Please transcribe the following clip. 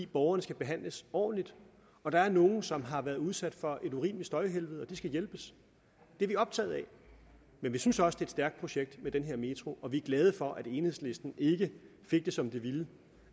borgerne skal behandles ordentligt der er nogle som har været udsat for et urimeligt støjhelvede og de skal hjælpes det er vi optaget af men vi synes også det er et stærkt projekt med den her metro og vi er glade for at enhedslisten ikke fik det som de ville